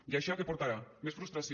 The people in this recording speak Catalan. i això què portarà més frustració